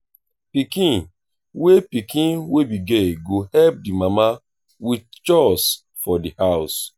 pikin wey pikin wey be girl go help di mama with chores for di house